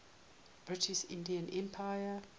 british indian empire